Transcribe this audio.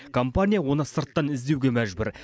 компания оны сырттан іздеуге мәжбүр